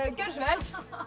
gjörðu svo vel